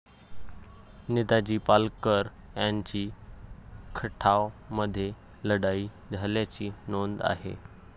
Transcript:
नेताजी पालकर यांची खटाव मध्ये लढाई झाल्याची नोंद आहे.